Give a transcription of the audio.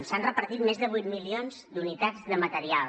s’han repartit més de vuit milions d’unitats de material